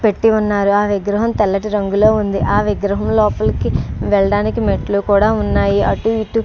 పెట్టి ఉన్నారు. ఆ విగ్రహం తెల్లటి రంగులో ఉంది. ఆ విగ్రహం లోపలికి వెళ్ళడానికి మెట్లు కూడా ఉన్నాయి. అటు ఇటు--